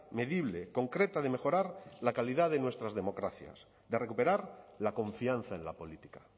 medible concreta de mejorar la calidad de nuestras democracias de recuperar la confianza en la política